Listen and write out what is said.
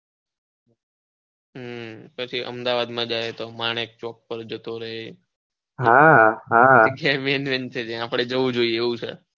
હમ અમદાવાદ માં જાય તો માણેક ચોક પર જતો રહે હા હા ત્યાં આપણે જઉં જોઈએ એવું છે. હમ